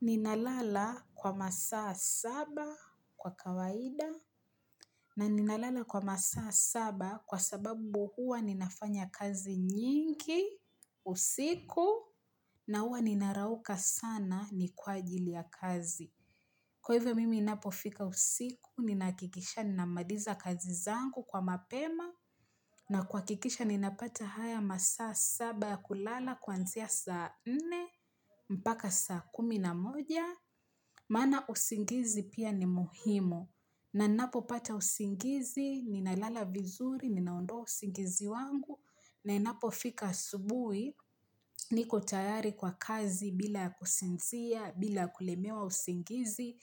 Ninalala kwa masaa saba kwa kawaida na ninalala kwa masaa saba kwa sababu huwa ninafanya kazi nyingi, usiku na huwa ninarauka sana ni kwa ajili ya kazi. Kwa hivyo mimi inapo fika usiku, ninakikisha ninamaliza kazi zangu kwa mapema, na kwa kikisha ninapata haya masaa saba ya kulala kwanzia saa nne, mpaka saa kumi na moja. Maana usingizi pia ni muhimu, nanipopata usingizi, ninalala vizuri, ninaondoa usingizi wangu, na inapo fika asubui, niko tayari kwa kazi bila kusinzia, bila kulemewa usingizi.